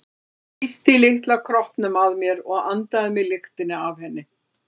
Ég þrýsti litla kroppnum að mér og andaði að mér lyktinni af henni.